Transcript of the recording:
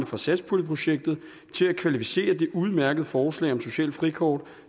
fra satspuljeprojektet til at kvalificere det udmærkede forslag om socialt frikort